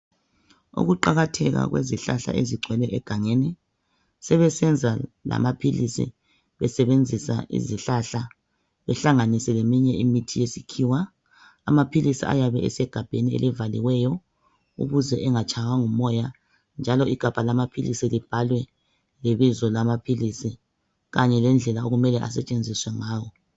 Ukuqakatheka kwezihlahla ezigcwele egangeni sebesenza lamaphilisi besebenzisa izihlahla behlanganise leminye imithi yesikhiwa. Amaphilisi ayabe uesegabheni elibhaliweyo ukuze engatshaywa ngumoya. Njalo igabha lamaphilisi libhalwe ibizo lamaphilisi Kanye lendlela elisentshenziswa ngawo.